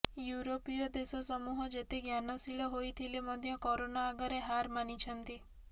ଇଉରୋପୀୟ ଦେଶ ସମୂହ ଯେତେ ଜ୍ଞାନଶୀଳ ହୋଇଥିଲେ ମଧ୍ୟ କରୋନା ଆଗରେ ହାର୍ ମାନିଛନ୍ତି